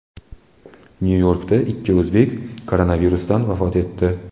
Nyu-Yorkda ikki o‘zbek koronavirusdan vafot etdi.